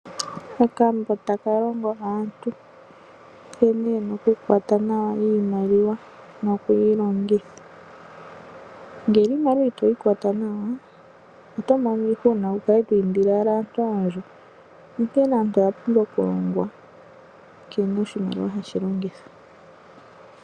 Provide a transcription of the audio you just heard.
Okambo taka kongo aantu nkene ye na okukwata nawa iimaliwa noku yi longitha. Ngele iimaliwa ito yi kwata nawa, oto mono iihuna wu kale to indile owala aantu oondjo. Onkene aantu oya pumbwa okulongwa nkene oshimaliwa hashi longithwa.